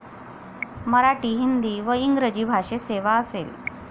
मराठी, हिंदी व इंग्रजी भाषेत सेवा असेल.